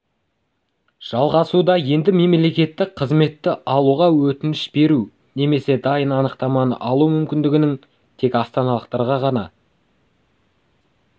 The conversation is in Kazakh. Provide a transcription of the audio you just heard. жалғасуда енді мемлекеттік қызметті алуға өтініш беру немесе дайын анықтаманы алу мүмкіндігін тек астаналықтар ғана